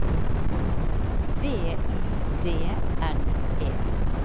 V I D N E